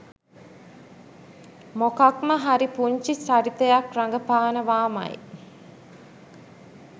මොකක්ම හරි පුංචි චරිතයක් රඟපානවාමයි.